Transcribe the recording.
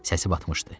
Səsi batmışdı.